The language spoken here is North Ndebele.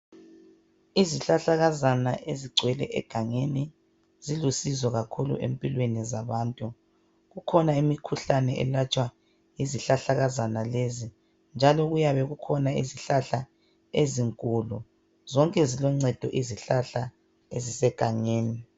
Izihlahlakazana ezigcwele egangeni zilusizo kakhulu empilweni zabantu. Kukhona imikhuhlane eyelatshwa yizihlahlakazana lezi. Njalo kuyabe kukhona izihlahla ezinkulu, zonke ziluncedo izihlahla ezisegangeni.